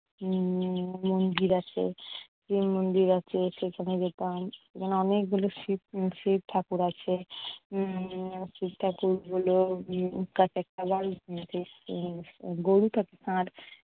উম মন্দির আছে। যে মন্দির আছে সেখানে যেতাম এখানে অনেকগুলো শিব~ শিবঠাকুর আছে। উম শিবঠাকুরগুলো